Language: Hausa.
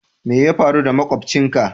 Mai ya faru da makobcin ka?